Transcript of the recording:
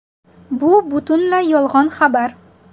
Bu butunlay yolg‘on xabar.